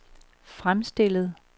fremstillet